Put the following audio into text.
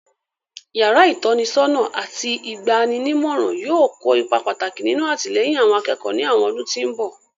Yàrá ìtọ́nisọ́nà àti ìgba'ninímọ̀ràn yóò kó ipa pàtàkì nínú àtìlẹ́yìn àwọn akẹ́kọ̀ọ́ ní àwọn ọdún tí mbọ̀